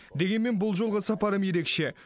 дегенмен бұл жолғы сапарым ерекше